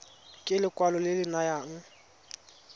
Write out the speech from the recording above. ke lekwalo le le nayang